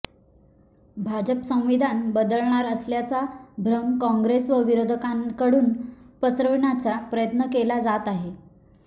भाजप संविधान बदलणार असल्याचा भ्रम काँग्रेस व विरोधकांकडून पसरविण्याचा प्रयत्न केला जात आहे